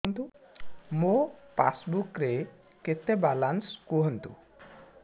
ମୋ ପାସବୁକ୍ ରେ କେତେ ବାଲାନ୍ସ କୁହନ୍ତୁ